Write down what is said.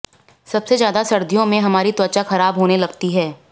सबसे ज्यादा सर्दियों में हमारी त्वचा खराब होने लगती है